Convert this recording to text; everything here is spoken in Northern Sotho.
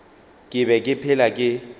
ke be ke phela ke